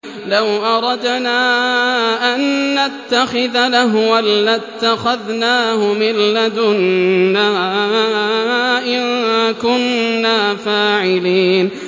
لَوْ أَرَدْنَا أَن نَّتَّخِذَ لَهْوًا لَّاتَّخَذْنَاهُ مِن لَّدُنَّا إِن كُنَّا فَاعِلِينَ